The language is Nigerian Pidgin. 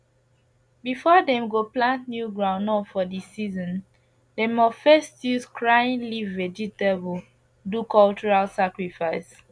before dem go plant new groundnut for di season dem must first use crying leaf vegetable do cultural sacrifice